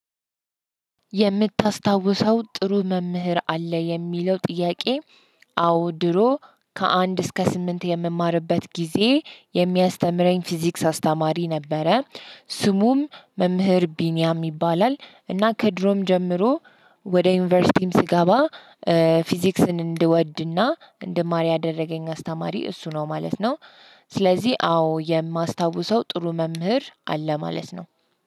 የምታስታውሰው ጥሩ መምህር አለ የሚለው ጥያቄ? አዎ ድሮ ከአንድ እስከ ስምንት የምማርበት ጊዜ የሚያስተምረኝ ፊዚክስ አስተማሪ ነበረ። ስሙም መምህር ቢኒያም ይባላል እና ከድሮም ጀምሮ ወደ ዩኒቨርሲቲም ስገባ ፊዚክስን እንድወድና እንድማር ያደረገኝ አስተማሪ እሱ ነው ማለት ነው። ስለዚህ አዎ የማስታውሰው ጥሩ መምህር አለ ማለት ነው።